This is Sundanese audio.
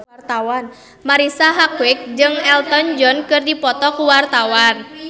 Marisa Haque jeung Elton John keur dipoto ku wartawan